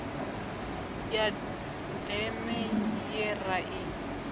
ya deme ye ra i